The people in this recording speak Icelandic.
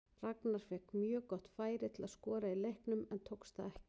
Ragnar fékk mjög gott færi til að skora í leiknum en tókst það ekki.